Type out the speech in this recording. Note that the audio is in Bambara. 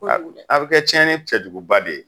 A bi kɛ cɛnni cɛjuguba de ye.